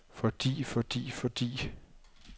fordi fordi fordi